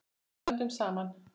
Stöndum saman.